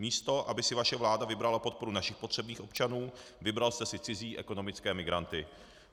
Místo aby si vaše vláda vybrala podporu našich potřebných občanů, vybral jste si cizí ekonomické migranty.